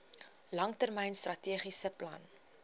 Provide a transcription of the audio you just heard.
langtermyn strategiese plan